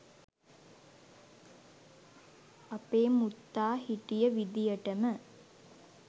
අපේ මුත්තා හිටිය විදියටම